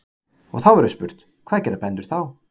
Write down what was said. Og þá verður spurt: hvað gera bændur þá?